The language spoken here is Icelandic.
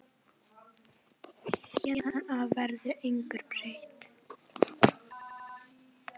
Héðan af verður engu breytt.